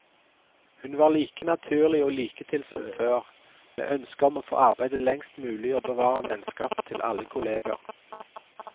Hun var like naturlig og liketil som før, med ønske om å få arbeide lengst mulig og bevare vennskapet til alle kolleger.